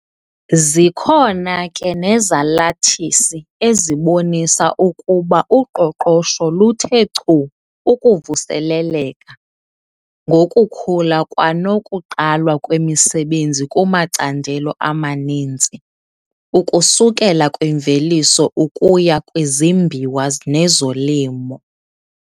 Zikhona ke nezalathisi ezibonisa ukuba uqoqosho luthe chu ukuvuseleleka, ngokukhula kwanokuqalwa kwemisebenzi kumacandelo amaninzi, ukusukela kwimveliso ukuya kwizimbiwa nezolimo.